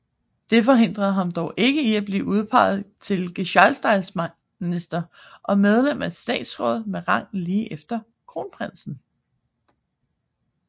Det forhindrer ham dog ikke i at blive udpeget til gehejmestatsminister og medlem af statsrådet med rang lige efter kronprinsen